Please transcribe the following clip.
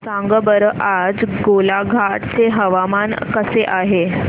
सांगा बरं आज गोलाघाट चे हवामान कसे आहे